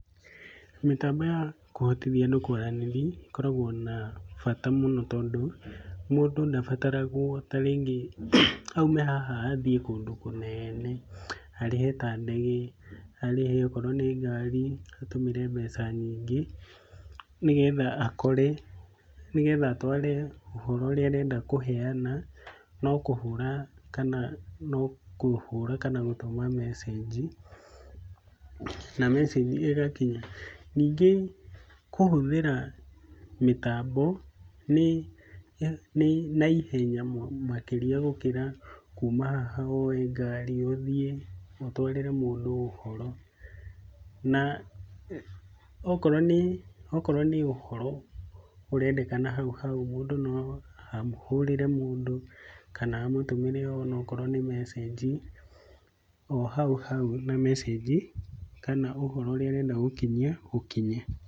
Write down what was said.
Mĩtambo ya kũhotithia andũ kwaranĩria ĩkoragwo na bata mũno tondũ mũndũ ndabataragwo tarĩngĩ aume haha athĩĩ kũndũ kũnene, arĩhe ta ndege, arĩhe akorwo nĩ ngari atũmĩre mbeca nyingĩ nĩgetha atware ũhoro ũrĩa arenda kũheyana no kũhũra kana gũtũma mesĩnji, na mesĩnji ĩgakinya. Ningĩ kũhũthĩra mĩtambo nĩ naihenya mũno makĩria gũkĩra kũma haha woe ngari ũthĩ ũtwarĩre mũndũ ũhoro. Na okorwo nĩ ũhoro ũrendekana hau hau mũndũ no ahũrĩre mũndũ kana amũtũmĩre okorwo nĩ mesĩnji o hau hau na mesĩnji kana ũhoro ũrĩa ũrenda gũkinyia ũkinye.